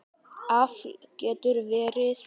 Afl getur verið